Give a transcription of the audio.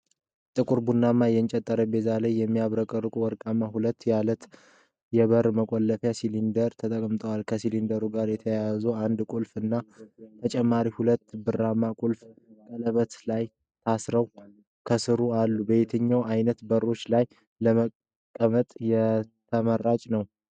በጥቁር ቡናማ የእንጨት ጠረጴዛ ላይ የሚያብረቀርቅ ወርቃማ ቀለም ያለው የበር መቆለፊያ ሲሊንደር ተቀምጧል። ከሲሊንደሩ ጋር የተያያዘ አንድ ቁልፍ እና ተጨማሪ ሁለት ብርማ ቁልፎች ቀለበት ላይ ታስረው ከሥሩ አሉ። በየትኛው ዓይነት በሮች ላይ ለመጠቀም ተመራጭ ነው?